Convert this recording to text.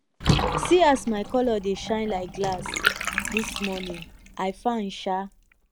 see as my colour dey shine like glass dis morning i fine sha